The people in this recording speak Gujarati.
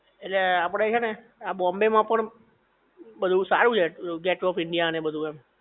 ઍટલે આપડે છે ને આ બોમ્બે માં પણ પેલું સારુ છે પેલું ગેટ ઓફ ઈન્ડિયા ને એ બધુ એમ